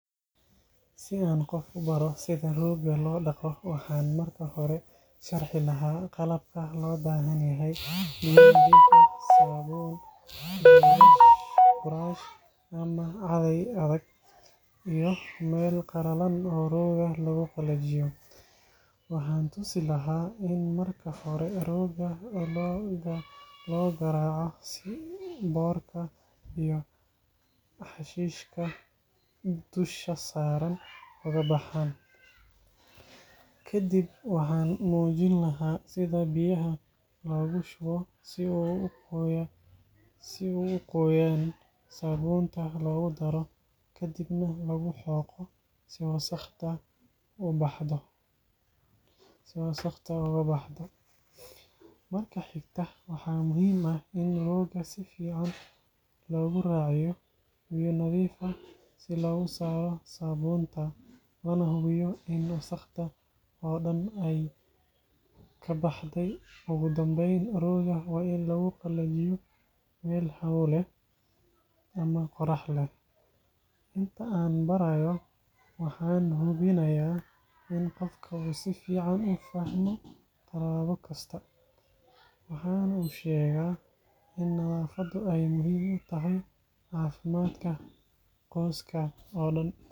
Si aan qof u baro sida roogga loo dhaqo, waxaan marka hore sharxi lahaa qalabka loo baahan yahay: biyo nadiif ah, saabuun, buraash ama caday adag, iyo meel qalalan oo roogga lagu qalajiyo. Waxaan tusi lahaa in marka hore roogga la garaaco si boodhka iyo xashiishka dusha saaran uga baxaan. Kadib waxaan muujin lahaa sida biyaha loogu shubo si uu u qoyaan, saabuunta loogu daro, ka dibna lagu xoqo si wasakhda uga baxdo. Marka xigta, waxaa muhiim ah in roogga si fiican loogu raaciyo biyo nadiif ah si looga saaro saabuunta, lana hubiyo in wasakhda oo dhan ay ka baxday. Ugu dambeyn, roogga waa in lagu qalajiyo meel hawo leh ama qorax leh. Inta aan barayo, waxaan hubinayaa in qofka uu si fiican u fahmo talaabo kasta, waxaanan u sheegaa in nadaafaddu ay muhiim u tahay caafimaadka qoyska oo dhan.